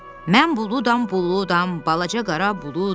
Mən buludam, buludam, balaca qara buludam.